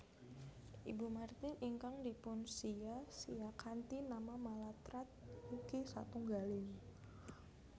Ibu Martin ingkang dipunsiya siya kanthi nama Mallatratt ugi satunggaling